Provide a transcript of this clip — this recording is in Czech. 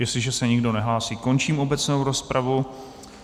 Jestliže se nikdo nehlásí, končím obecnou rozpravu.